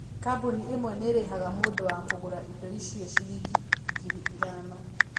Kambuni ĩmwe nĩ ĩrĩhaga mũndũ wa kũgũra indo icio ciringi ngiri ithano.